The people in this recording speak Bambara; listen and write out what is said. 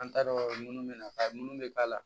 An t'a dɔn munnu bɛ na munu bɛ k'a la